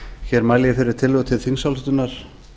hér mæli ég fyrir tillögu til þingsályktunar